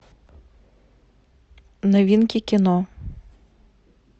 новинки кино